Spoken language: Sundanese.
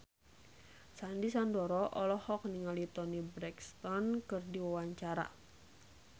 Sandy Sandoro olohok ningali Toni Brexton keur diwawancara